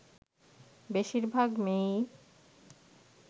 বেশির ভাগ মেয়েই